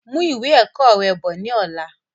Mú ìwé ẹ̀kọ́ rẹ bọ̀ ni ọ̀la!